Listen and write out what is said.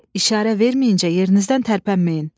İşarə verməyincə yerinizdən tərpənməyin.